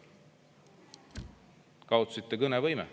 Kaotasite kõnevõime.